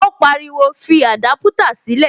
Ó pariwo, fi adaputa sílè